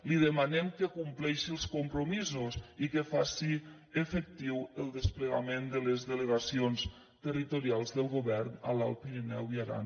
li demanem que compleixi els compromisos i que faci efectiu el desplegament de les delegacions territorials del govern a l’alt pirineu i aran